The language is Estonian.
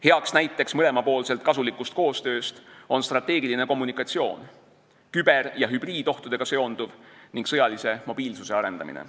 Heaks näiteks mõlemapoolselt kasuliku koostöö kohta on strateegiline kommunikatsioon, küber- ja hübriidohtudega seonduv ning sõjalise mobiilsuse arendamine.